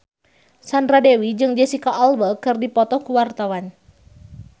Sandra Dewi jeung Jesicca Alba keur dipoto ku wartawan